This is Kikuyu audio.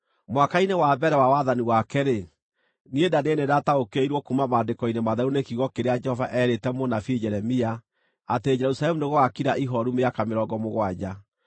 mwaka-inĩ wa mbere wa wathani wake-rĩ, niĩ Danieli nĩndataũkĩirwo kuuma maandĩko-inĩ matheru nĩ kiugo kĩrĩa Jehova eerĩte mũnabii Jeremia atĩ Jerusalemu nĩgũgakira ihooru mĩaka mĩrongo mũgwanja.